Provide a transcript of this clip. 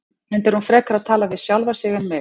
Enda er hún frekar að tala við sjálfa sig en mig.